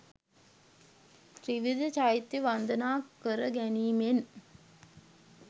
ත්‍රිවිධ චෛත්‍යය වන්දනා කර ගැනීමෙන්